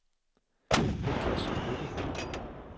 Niklas Lykke